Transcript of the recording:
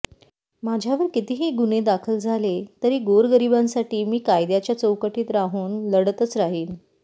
माझ्यावर कितीही गुन्हे दाखल झाले तरी गोरगरिबांसाठी मी कायद्याच्या चौकटीत राहून लढतच राहीन